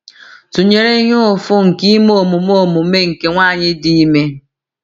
tụnyere ihe ụfụ nke ime omume omume nke nwanyị dị ime.